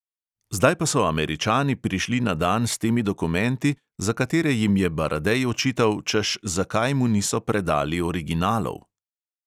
Zdaj pa so američani prišli na dan s temi dokumenti, za katere jim je baradej očital, češ, zakaj mu niso predali originalov.